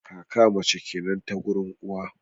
kaka mace kenan ta gurin uwa